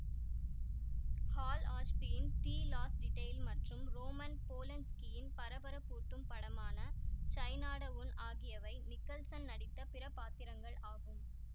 hall ஆஷ்பியின் the last detail மற்றும் Roman போலன்ஸ்கியின் பரபரப்பூட்டும் படமான சைனாடவுன் ஆகியவை நிக்கல்சன் நடித்த பிற பாத்திரங்கள் ஆகும்